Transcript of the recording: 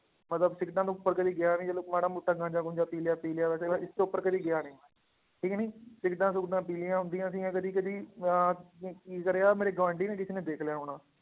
ਮਤਲਬ ਸਿਗਰਟਾਂ ਤੋਂ ਉੱਪਰ ਕਦੇ ਗਿਆ ਨੀ ਚਲੋ ਮਾੜਾ ਮੋਟਾ ਗਾਂਝਾ ਗੂੰਝਾ ਪੀ ਲਿਆ ਪੀ ਲਿਆ ਵੈਸੇ ਇਸ ਤੋਂ ਉੱਪਰ ਕਦੇ ਗਿਆ ਨੀ ਠੀਕ ਨੀ ਸਿਗਰਟਾਂ ਸੁਗਰਟਾਂ ਪੀ ਲਈਆਂ ਹੁੰਦੀਆਂ ਸੀਗੀਆਂ ਕਦੇ ਕਦੇ ਮੈਂ ਅਮ ਕੀ ਕਰਿਆ ਮੇਰੇ ਗੁਆਂਢੀ ਨੇ ਕਿਸੇ ਨੇ ਦੇਖ ਲਿਆ ਹੋਣਾ